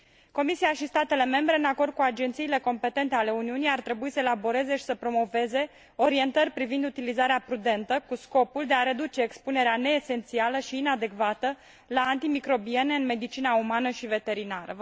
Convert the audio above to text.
Comisia și statele membre, în acord cu agențiile competente ale Uniunii ar trebui să elaboreze și să promoveze orientări privind utilizarea prudentă, cu scopul de a reduce expunerea neesențială și inadecvată la antimicrobiene în medicina umană și veterinară.